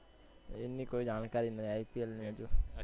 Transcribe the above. એની કોઈ જાણકારી નહિ IPL હજુ.